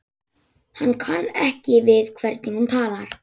Hann kann ekki við hvernig hún talar.